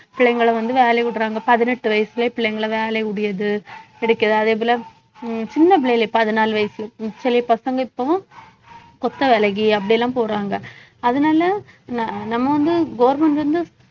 பிள்ளைங்களை வந்து வேலையை விடறாங்க பதினெட்டு வயசுலயே பிள்ளைங்களை வேலையை கிடைக்குது அதேபோல உம் சின்ன பிள்ளைகள பதினாலு வயசு சில பசங்க இப்போவும் கொத்த வேலைக்கு அப்படி எல்லாம் போறாங்க அதனால ந~ நம்ம வந்து government வந்து